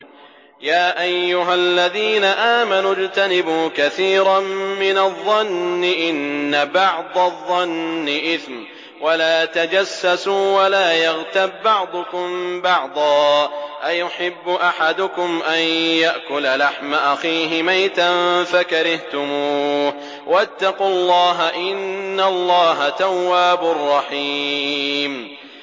يَا أَيُّهَا الَّذِينَ آمَنُوا اجْتَنِبُوا كَثِيرًا مِّنَ الظَّنِّ إِنَّ بَعْضَ الظَّنِّ إِثْمٌ ۖ وَلَا تَجَسَّسُوا وَلَا يَغْتَب بَّعْضُكُم بَعْضًا ۚ أَيُحِبُّ أَحَدُكُمْ أَن يَأْكُلَ لَحْمَ أَخِيهِ مَيْتًا فَكَرِهْتُمُوهُ ۚ وَاتَّقُوا اللَّهَ ۚ إِنَّ اللَّهَ تَوَّابٌ رَّحِيمٌ